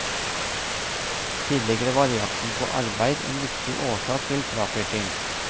Tidligere var jakten på arbeid en viktig årsak til fraflytting.